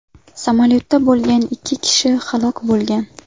Samolyotda bo‘lgan ikki kishi halok bo‘lgan.